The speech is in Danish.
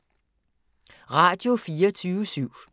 Radio24syv